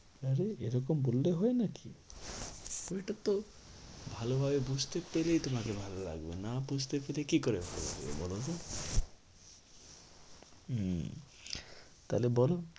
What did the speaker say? আরে এরকম বললে হয় নাকি? ওইটা তো ভালো ভাবে বুঝতে পেরে তোমাকে ভালো লাগবে না বুঝতে পেরে কি করে ভালো লাগবে বলতো? উম তাহলে বলো